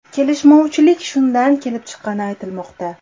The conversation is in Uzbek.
Kelishmovchilik shundan kelib chiqqani aytilmoqda.